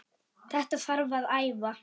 Þetta þarf að æfa.